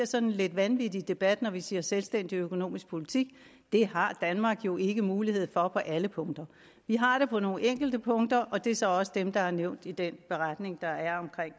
sådan lidt vanvittig debat når vi siger selvstændig økonomisk politik det har danmark jo ikke mulighed for på alle punkter vi har det på nogle enkelte punkter og det er så også dem der er nævnt i den beretning der er